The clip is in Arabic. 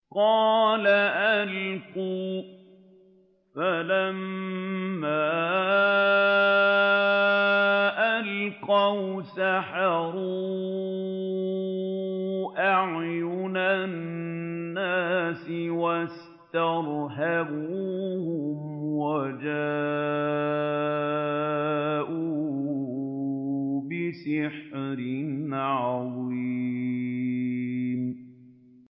قَالَ أَلْقُوا ۖ فَلَمَّا أَلْقَوْا سَحَرُوا أَعْيُنَ النَّاسِ وَاسْتَرْهَبُوهُمْ وَجَاءُوا بِسِحْرٍ عَظِيمٍ